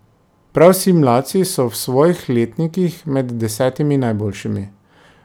Prav vsi mladci so v svojih letnikih med desetimi najboljšimi.